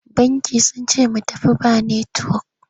Bankin sun ce mu tafi ba netiwok.